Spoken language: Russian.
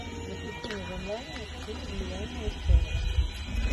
запусти мне в онлайне фильм нереальная история